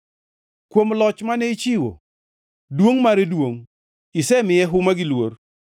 Kuom loch mane ichiwo, duongʼ mare duongʼ; isemiye huma gi luor.